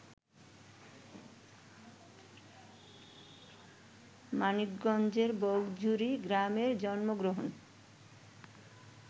মানিকগঞ্জের বগজুড়ী গ্রামে জন্মগ্রহণ